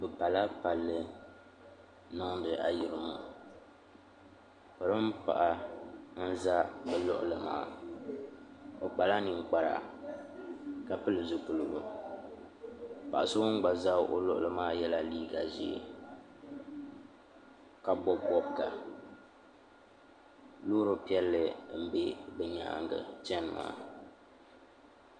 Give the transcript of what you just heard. bɛ pala palli n-niŋdi ayirimo polin' paɣa n-za bɛ luɣili maa o kpala ninkpara ka pili zupiligu paɣa so ŋun gba za o luɣili maa yela liiga ʒee ka bɔbi bɔbiga loori piɛlli m-be bɛ nyaaga chani maa.